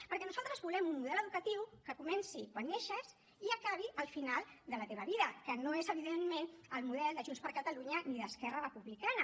perquè nosaltres volem un model educatiu que comenci quan neixes i acabi al final de la teva vida que no és evidentment el model de junts per catalunya i d’esquerra republicana